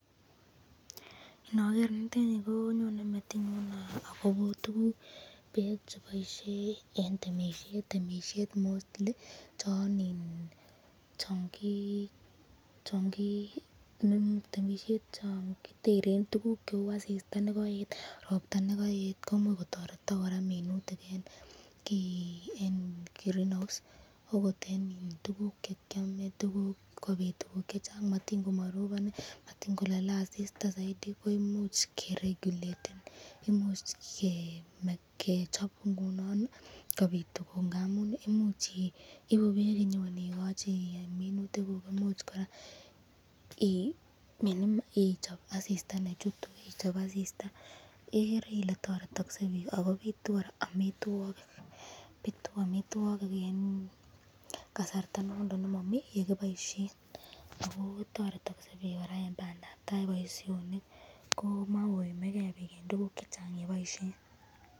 Niger niteni ko anyone metinyun Kobo tukuk cheboisye eng temisyet, mostly chongiteren tukuk cheu asista nekoet, robta nekaet akotoretak kora minutik eng green house akot eng tukuk chekyame sikobit tukuk chechang matin komarobon, matin kolale asista zaidi imuch keregyulaten igere Ile toretaksen bik ako bitu amitwokik kasartabnondon nemami yekiboisyen ,toreti eng bandab tai, boisyonik komakoime ken bik eng tukuk chechang cheboisyen.